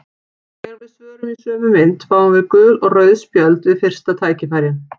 Þegar við svörum í sömu mynt fáum við gul og rauð spjöld við fyrsta tækifæri.